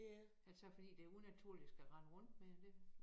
Ellers så det fordi det unaturligt at skal rende rundt med det